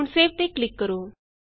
ਹੁਣ ਸੇਵ ਤੇ ਕਲਿਕ ਕਰੋ